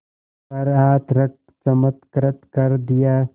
पर हाथ रख चमत्कृत कर दिया